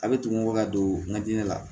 A bɛ tugun ka don n ka diinɛ la